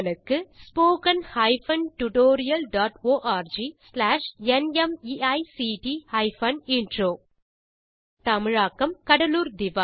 spoken hyphen tutorial dot org slash நிமைக்ட் hyphen intro தமிழாக்கம் கடலூர் திவா